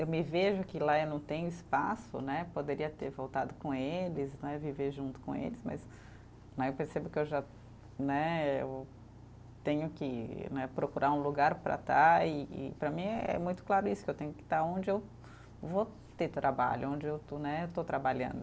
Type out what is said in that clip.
Eu me vejo que lá eu não tenho espaço né, poderia ter voltado com eles né, viver junto com eles, mas né eu percebo que eu já né, eu tenho que né procurar um lugar para estar e e para mim é muito claro isso, que eu tenho que estar onde eu vou ter trabalho, onde eu to né, estou trabalhando.